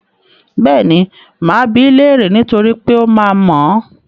Bẹ́ẹ̀ni, máa bi í léèrè niítorí pé ó máa mọ̀ ọ́n.